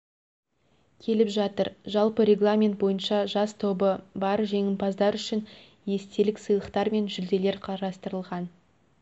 келіп жатыр жалпы регламент бойынша жас тобы бар жеңімпаздар үшін естелік сыйлықтар мен жүлделер қарастырылған